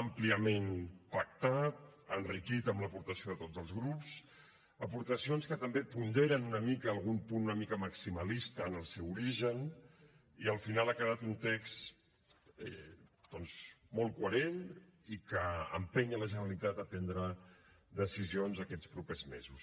àmpliament pactat enriquit amb l’aportació de tots els grups aportacions que també ponderen una mica algun punt una mica maximalista en el seu origen i al final ha quedat un text doncs molt coherent i que empeny la generalitat a prendre decisions aquests propers mesos